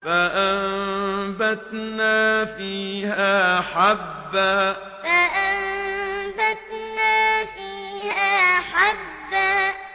فَأَنبَتْنَا فِيهَا حَبًّا فَأَنبَتْنَا فِيهَا حَبًّا